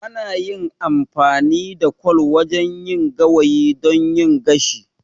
Ana yin amfani da kwal wajen yin gawayi don yin gashi.